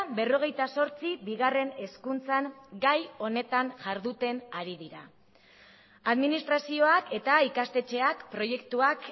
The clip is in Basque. berrogeita zortzi bigarren hezkuntzan gai honetan jarduten ari dira administrazioak eta ikastetxeak proiektuak